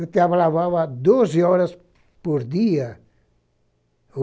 Eu trabalhava lá doze horas por dia.